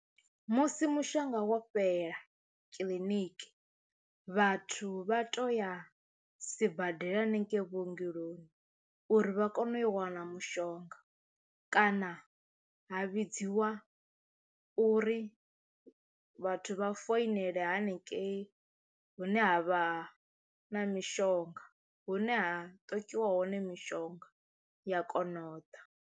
Musi mushonga wo fhela kiḽiniki vhathu vha toya sibadela hanengei vhuongeloni uri vha kone u yo wana mushonga kana ha vhidziwa uri vhathu vha foinela haningei hune ha vha na mishonga hune ha ṱokiwa hone mishonga ya kono u ḓa.